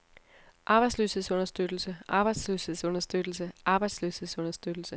arbejdsløshedsunderstøttelse arbejdsløshedsunderstøttelse arbejdsløshedsunderstøttelse